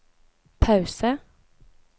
pause